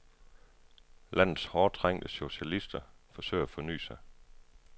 Landets hårdt trængte socialister forsøger at forny sig.